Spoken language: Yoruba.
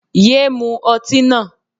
Yéé mu ọtí náà.